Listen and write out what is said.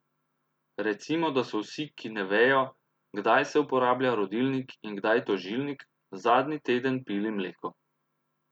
Recimo, da so vsi, ki ne vejo, kdaj se uporablja rodilnik in kdaj tožilnik, zadnji teden pili mleko.